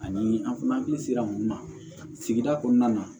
Ani an hakili sera mun ma sigida kɔnɔna na